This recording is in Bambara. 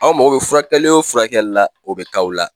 Aw mago bɛ furakɛli o furakɛli la o bɛ k'aw la.